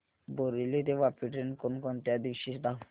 बोरिवली ते वापी ट्रेन कोण कोणत्या दिवशी धावते